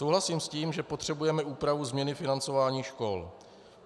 Souhlasím s tím, že potřebujeme úpravu změny financování škol.